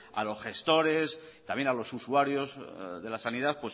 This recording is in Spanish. a los gestores también a los usuarios de la sanidad